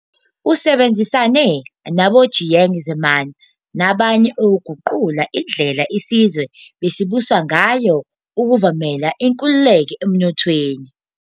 Usebenzisane naboJiang Zemin nabanye ukuguqula indlela isizwe besibuswa ngayo ukuvumela inkululeko emnothweni.